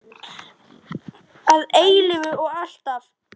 Að eilífu og alltaf.